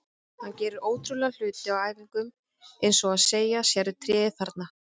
Hann gerir ótrúlega hluti á æfingum eins og að segja: Sérðu tréð þarna?